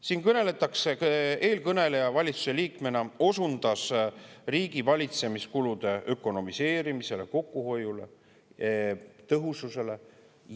Siin eelkõneleja valitsusliikmena osundas riigivalitsemiskulude ökonomiseerimisele, kokkuhoiule, tõhususele.